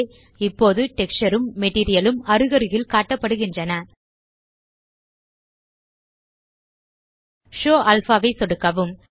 இப்போது டெக்ஸ்சர் ம் மெட்டீரியல் ம் அருகருகில் காட்டப்படுகின்றன ஷோவ் அல்பா ஐ சொடுக்கவும்